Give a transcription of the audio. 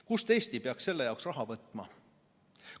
Kust Eesti peaks selle jaoks raha võtma?